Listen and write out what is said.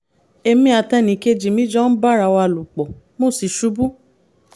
èmi àti ẹnìkejì mi jọ ń bára wa lò pọ̀ mo sì "ṣubú"